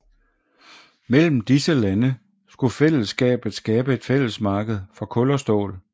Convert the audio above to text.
Mellem disse lande skulle fællesskabet skabe et fællesmarked for kul og stål